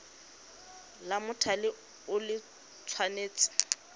la mothale o le tshwanetse